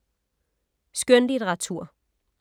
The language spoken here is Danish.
Skønlitteratur